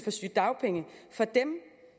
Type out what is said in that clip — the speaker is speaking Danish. for sygedagpenge for dem